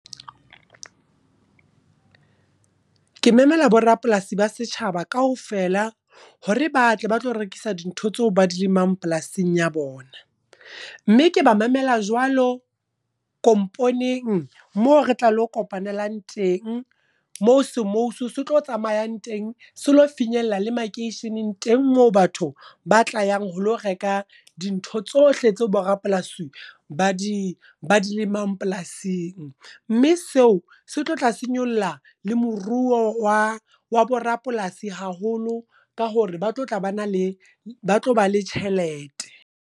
Ke memela borapolasi ba setjhaba kaofela, hore ba tle ba tlo rekisa dintho tseo ba di lemang polasing ya bona. Mme ke ba mamela jwalo komponeng, mo re tla lo kopanelang teng. Moo semousu se tlo tsamayang teng, selo finyella le makeisheneng teng moo batho ba tlayang ho lo reka dintho tsohle tseo bo rapolasi ba di lemang polasing. Mme seo se tlo tla se nyolla le moruo wa wa borapolasi haholo, ka hore ba tlo tla ba na le ba tlo ba le tjhelete.